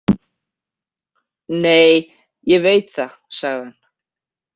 Nei, ég veit það, sagði hann.